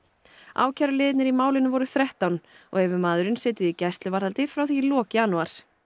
ákæruliðirnir í málinu voru þrettán og hefur maðurinn setið í gæsluvarðhaldi frá því í lok janúar